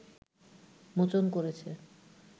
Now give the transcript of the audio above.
মোচন করেছে